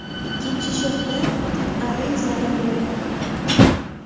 Ikkinchi shoxda faqat arra izlari bor.